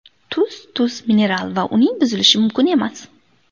Tuz Tuz mineral va uning buzilishi mumkin emas.